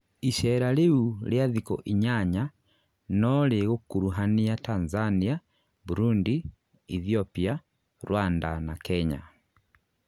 icera rĩu ria thiku inyanya no rĩgũkũrũhania Tanzania, Burundi, Ethiopia, Rwanda na Kenya.